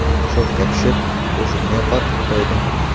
Shokka tushib, o‘zimni yo‘qotib qo‘ydim.